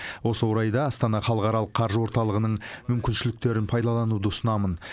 осы орайда астана халықаралық қаржы орталығының мүмкіншіліктерін пайдалануды ұсынамын